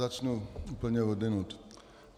Začnu úplně odjinud.